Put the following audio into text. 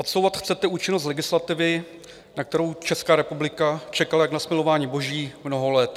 Odsouvat chcete účinnost legislativy, na kterou Česká republika čekala jak na smilování boží mnoho let.